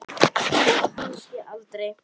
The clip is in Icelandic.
Og fyrir hvað?